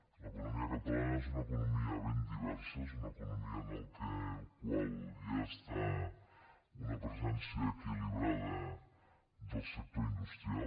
l’economia catalana és una economia ben diversa és una economia en la qual hi ha una presència equilibrada del sector industrial